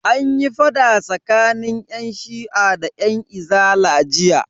Anyi fada tsakanin yan shi'a da yan izala jiya.